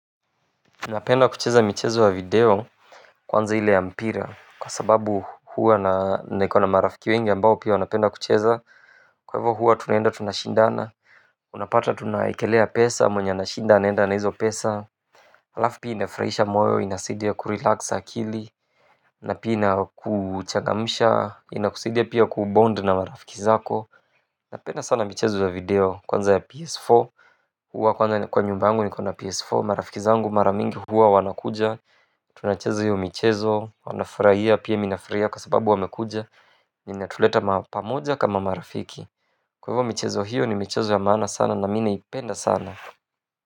Napenda kucheza michezo ya video kwanza ile ya mpira kwa sababu huwa na nikona marafiki wengi ambao pia wanapenda kucheza kwa hivyo huwa tunaenda tunashindana unapata tunaekelea pesa mwenye anashinda anaenda na hizo pesa halafu pia inafurahisha moyo inasaidia kurelax akili na pia inakuchangamsha, inakusaidia pia kubond na marafiki zako napenda sana michezo ya video kwanza ya ps4 huwa kwanza kwa nyumba angu nikona ps4 marafiki zangu mara mingi huwa wanakuja tunacheza hiyo michezo, wanafurahia pia mi nafurahia kwa sababu wamekuja na inatuleta ma pamoja kama marafiki kwa hivo michezo hiyo ni michezo ya maana sana na mi naipenda sana.